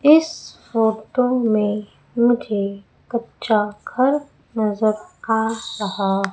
इस फोटो में मुझे कच्चा घर नजर आ रहा--